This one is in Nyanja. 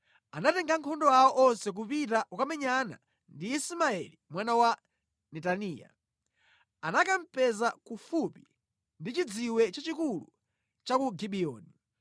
anatenga ankhondo awo onse kupita kukamenyana ndi Ismaeli mwana wa Netaniya. Anakamupeza kufupi ndi chidziwe chachikulu cha ku Gibiyoni.